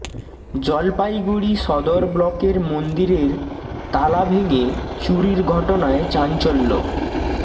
জলপাইগুড়ি সদর ব্লকের মন্দিরের তালা ভেঙে চুরির ঘটনায় চাঞ্চল্য